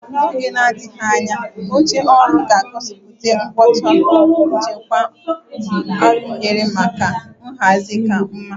Na oge na-adịghị anya, oche oru ga-egosipụta ngwọta nchekwa arụnyere maka nhazi ka mma.